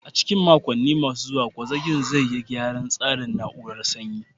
A cikin makonni masu zuwa, gwazakin zai yi gyaran tsarin na'urar sanyi.